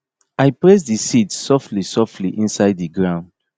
i press di seed softly softly inside di ground